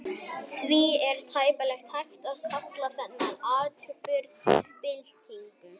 Því er tæplega hægt að kalla þennan atburð byltingu.